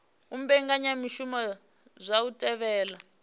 u mbekanyamushumo dza u thivhela